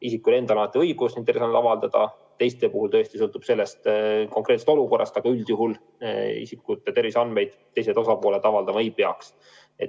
Isikul endal on alati õigus oma terviseandmeid avaldada, teiste puhul tõesti sõltub palju konkreetsest olukorrast, aga üldjuhul isikute terviseandmeid teised osapooled avaldama ei peaks.